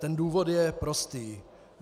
Ten důvod je prostý.